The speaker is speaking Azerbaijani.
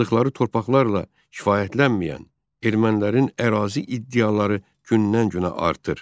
Yaşadıqları torpaqlarla kifayətlənməyən ermənilərin ərazi iddiaları gündən-günə artır.